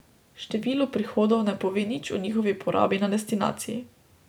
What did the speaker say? Število prihodov ne pove nič o njihovi porabi na destinaciji.